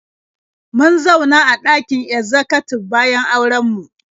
Mun zauna a ɗakin ezzakatib bayan auren mu.